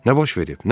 Nə baş verib?